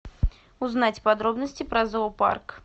узнать подробности про зоопарк